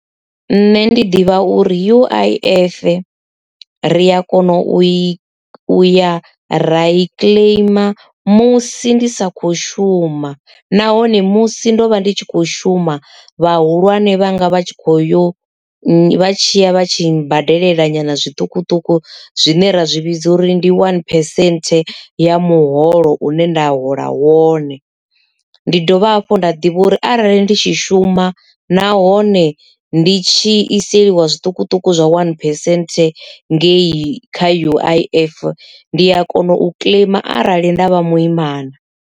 Nṋe ndi ḓivha uri U_I_F ri a kona u i u ya rai claim musi ndi sa kho shuma nahone musi ndo vha ndi tshi kho shuma vhahulwane vhanga vha tshi kho yo vha tshiya vha tshi badelela nyana zwiṱukuṱuku zwine ra zwi vhidza uri ndi one percent ya muholo une nda hola wone. Ndi dovha hafhu nda ḓivha uri arali ndi tshi shuma nahone ndi tshi iselwa zwiṱukuṱuku zwa one percent ngei kha U_I_F ndi a kona u kiḽeima arali nda vha muimana.